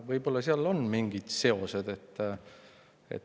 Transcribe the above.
Võib-olla on seal mingi seos.